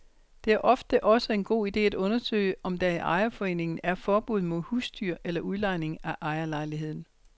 Det er ofte også en god ide at undersøge, om der i ejerforeningen er forbud mod husdyr eller udlejning af ejerlejligheden.